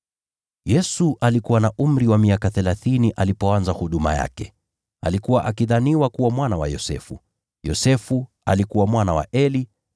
Yesu alikuwa na umri wa miaka thelathini alipoanza huduma yake. Alikuwa akidhaniwa kuwa mwana wa Yosefu, Yosefu alikuwa mwana wa Eli,